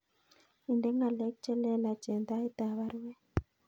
Inde ngalek chelelach en tait ab baruet